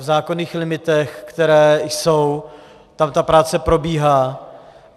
V zákonných limitech, které jsou, tam ta práce probíhá.